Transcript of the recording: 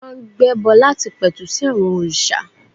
Wọ́n máa ń gbẹ́bọ láti pẹ̀tù sí àwọn òrìṣà.